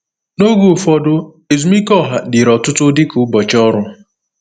N’oge ụfọdụ, ezumike ọha dịrị ọtụtụ dịka ụbọchị ọrụ.